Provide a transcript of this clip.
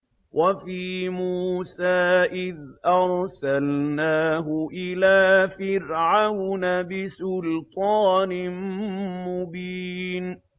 وَفِي مُوسَىٰ إِذْ أَرْسَلْنَاهُ إِلَىٰ فِرْعَوْنَ بِسُلْطَانٍ مُّبِينٍ